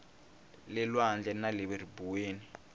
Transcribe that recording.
le lwandle na le ribuweni